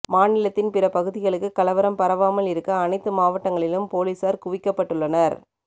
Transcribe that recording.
மாநிலத்தின் பிற பகுதிகளுக்கு கலவரம் பரவாமல் இருக்க அனைத்து மாவட்டங்களிலும் போலீசார் குவிக்கப்பட்டுள்ளனர்